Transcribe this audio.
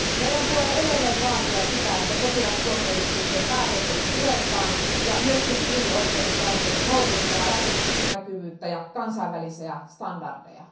Meidän tulee edelleen vaatia sitä, että sotilastuomioistuinten päätökset puretaan ja myös siviilioikeudenkäyntien on noudatettava avoimuutta ja kansainvälisiä standardeja.